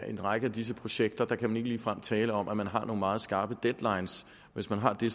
en række af disse projekter kan ligefrem tale om at man har nogle meget skarpe deadlines hvis man har det